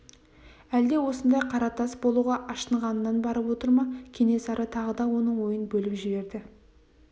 әлде осындай қара тас болуға ашынғанынан барып отыр ма кенесары тағы да оның ойын бөліп жіберді